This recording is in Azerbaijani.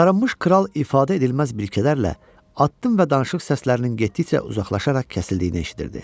Sarınmış kral ifadə edilməz biliklərlə atdım və danışıq səslərinin getdikcə uzaqlaşaraq kəsildiyini eşitdirdi.